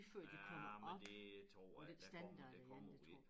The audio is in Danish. Ja men det tror jeg det kommer det kommer jo ikke